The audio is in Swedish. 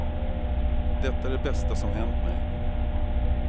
Detta är det bästa som hänt mej.